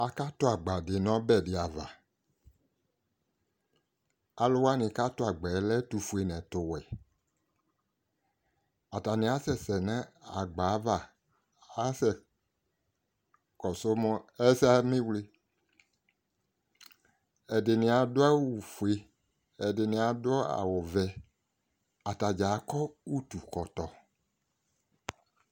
akatu agba di nu ɔbɛ diava alu wanɩ katu agba yɛ ɛtu foe nu ɔwɛ atanɩ akasɛsɛ nubava ku akasɛ ɛdɩni adu wu ɔfue ɛdɩnɩ awu vɛ atani akɔ utu ɛkɔtɔ